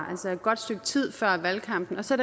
altså et godt stykke tid før valgkampen og så